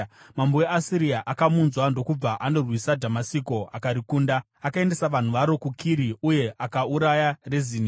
Mambo weAsiria akamunzwa ndokubva andorwisa Dhamasiko akarikunda. Akaendesa vanhu varo kuKiri uye akauraya Rezini.